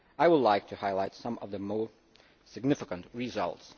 I would like to highlight some of the more significant results.